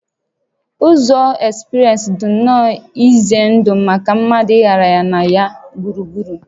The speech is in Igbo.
Ụzọ ekspreesị dị nnọọ ize ndụ maka mmadụ ịgagharị na ya gburugburu